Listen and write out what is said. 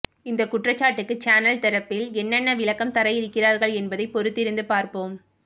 இந்த குற்றச்சாட்டுக்கு சேனல் தரப்பில் என்ன என்ன விளக்கம் தர இருக்கிறார்கள் என்பதை பொறுத்திருந்து பார்ப்போம்